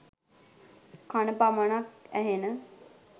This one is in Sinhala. කණ පමණක් ඇහෙන